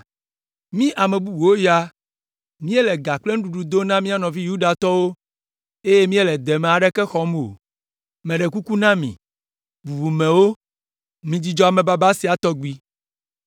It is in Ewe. Mí ame bubuawo ya míele ga kple nuɖuɖu dom na mía nɔvi Yudatɔwo, eye míele deme aɖeke xɔm o. Meɖe kuku na mi, bubumewo, midzudzɔ amebaba sia tɔgbi!